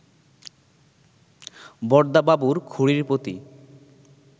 বরদাবাবুর খুড়ীর প্রতি